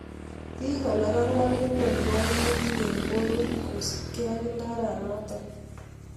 Piik alak angwan konyoruu kaimutik eng porwek kosuup gei ak ndaraa notok